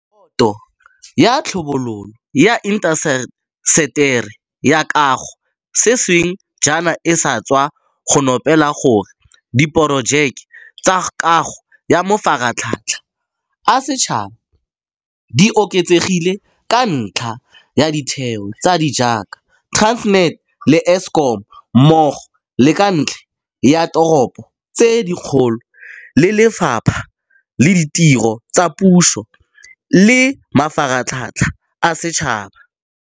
Boto ya Tlhabololo ya Intaseteri ya Kago sešweng jaana e sa tswa go nopola gore diporojeke tsa kago ya mafaratlhatlha a setšhaba di oketsegile ka ntlha ya ditheo tse di jaaka Transnet le Eskom, mmogo le ka ntlha ya diteropo tse dikgolo le Lefapha la Ditiro tsa Puso le Mafaratlhatlha a Setšhaba.